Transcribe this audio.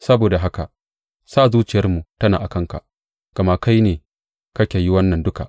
Saboda haka sa zuciyarmu tana a kanka, gama kai ne kake yi wannan duka.